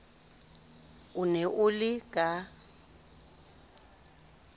o ne o le ka